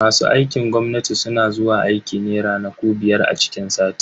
Masu aikin gwamnati suna zuwa aiki ne ranaku biyar a ciki sati.